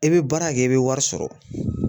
I bɛ baara kɛ i bɛ wari sɔrɔ.